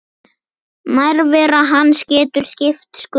Nærvera hans getur skipt sköpum.